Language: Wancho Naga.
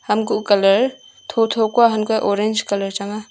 hamkuh colour thotho hantoley orange colour changa.